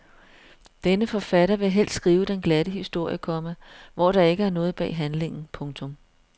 Denne forfatter vil helst skrive den glatte historie, komma hvor der ikke er noget bag handlingen. punktum